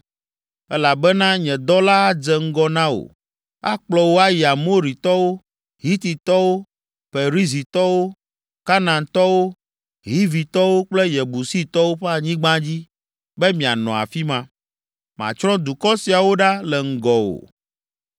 elabena nye Dɔla adze ŋgɔ na wò, akplɔ wò ayi Amoritɔwo, Hititɔwo, Perizitɔwo, Kanaantɔwo, Hivitɔwo kple Yebusitɔwo ƒe anyigba dzi be mianɔ afi ma. Matsrɔ̃ dukɔ siawo ɖa le ŋgɔwò.